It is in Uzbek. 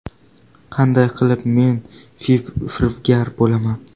Qanday qilib men firibgar bo‘laman?